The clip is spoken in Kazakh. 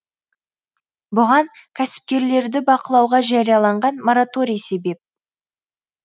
бұған кәсіпкерлерді бақылауға жарияланған мораторий себеп